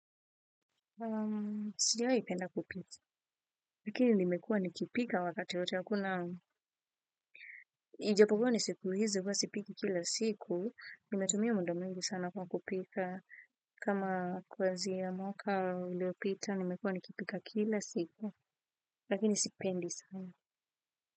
Sijawai penda kupika, lakini nimekuwa nikipika wakati hakuna, ijapokuwa ni siku hizi huwa sipiki kila siku, nimetumia muda mwingi sana kwa kupika, kama kuanzia mwaka uliopita nimekuwa nikipika kila siku, lakini sipendi sana.